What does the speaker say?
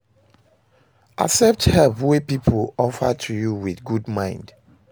Accept help wey pipo offer to you with good mind